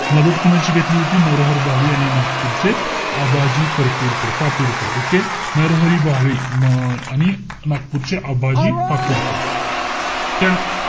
मदत कोणाची घेतली होती? नरहर भावे आणि नागपूरचे आबाजी परतूरकर~ पातुरकर. Okay? नरहर भावे आणि अं आणि नागपूरचे आबाजी पारतूरकर. त,